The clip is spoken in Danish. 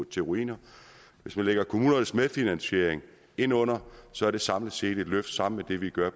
til ruiner hvis man lægger kommunernes medfinansiering ind under så er det samlet set et løft sammen med det vi gør